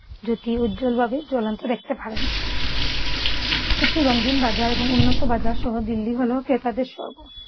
জোত্যি উজ্জ্বলভাবে জ্বলন্ত দেখতে পারেন । কিছু রঙ্গিন বাজার এবং উন্নত বাজারসহ দিল্লি হল ক্রেতাদের সর্গ